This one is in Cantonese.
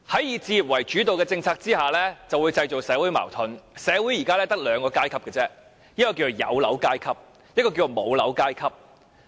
"以置業為主導"的政策會製造社會矛盾，社會現時只有兩個階級："有樓階級"及"無樓階級"。